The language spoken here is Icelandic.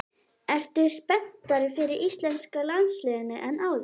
Ertu spenntari fyrir íslenska landsliðinu en áður?